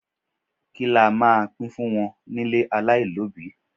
Kí la máa pín fún wọn ní ilé alailobi?